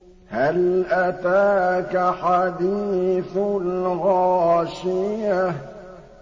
هَلْ أَتَاكَ حَدِيثُ الْغَاشِيَةِ